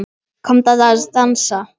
Komdu að dansa